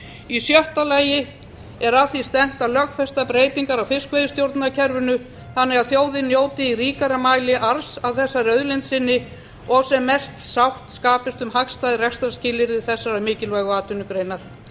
í sjötta lagi er að því stefnt að lögfesta breytingar á fiskveiðistjórnarkerfinu þannig að þjóðin njóti í ríkari mæli arðs af þessari auðlind sinni og sem mest sátt skapist um hagstæð rekstrarskilyrði þessarar mikilvægu atvinnugreinar